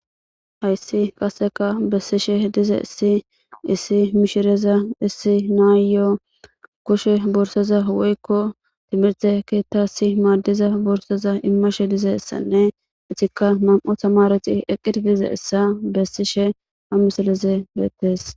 Hayssi qaseka bessishe diza issi issi mishireza dissi naayyoo koshe borsoza woykko timirte keetta si maaddiza borsoza immashe dize essanne etikka nam'u tamareti eqqir dize essa bessishe ha misalize beettes